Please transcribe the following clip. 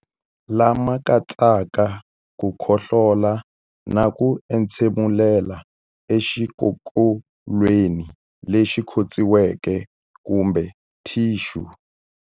Lama katsaka ku khohlola na ku entshemulela exikokolweni lexi khotsiweke kumbe thixu.